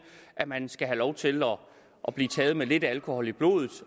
at man skal have lov til at blive taget med lidt alkohol i blodet